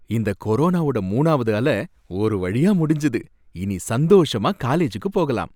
இந்த கொரோனாவோட மூணாவது அல ஒரு வழியா முடிஞ்சது, இனி சந்தோஷமா காலேஜூக்கு போகலாம்.